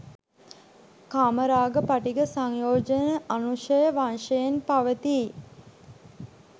කාමරාග, පටිඝ සංයෝජන අනුසය වශයෙන් පවතියි.